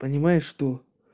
понимаешь что